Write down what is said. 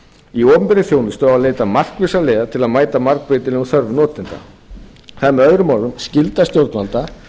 í opinberri þjónustu á að leita markvissra leiða til að mæta margbreytilegum þörfum notenda það er með öðrum orðum skylda stjórnvalda